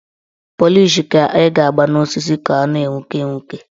Pọlịsh ka ị ga-agba n' osisi ka ọ na-enwuke enwuke